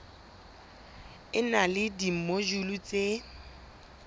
e na le dimojule tse